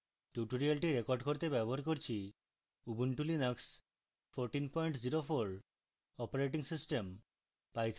tutorial record করতে ব্যবহার করছি উবুন্টু লিনাক্স 1404 অপারেটিং সিস্টেম